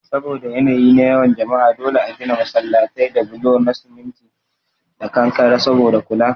Saboda yanayi na yawan jama'a dole a gina masallatai da bulo na cement da kankare saboda kula